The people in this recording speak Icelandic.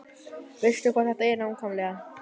Veistu hvað þetta er nákvæmlega?